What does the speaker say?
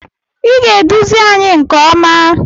Ị ga-eduzi anyị nke ọma!